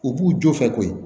U b'u jɔ fɛ koyi